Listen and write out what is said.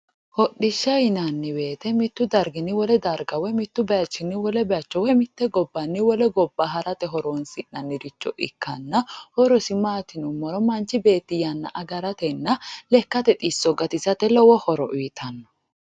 hodhishsha yinaniwoyiite mittu darginni wole darga woy mittu bayiichinni wole bayiicho woy mite gobbanni wole gobba harate horonsinaniricho ikkanna horosi maati yinummoro manch beeti yana agaratena lekkate xisso gatisate lowo horo uyiittanno